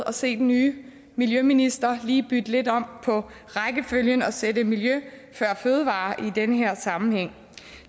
at se den nye miljøminister lige bytte lidt om på rækkefølgen og sætte miljø før fødevarer i den her sammenhæng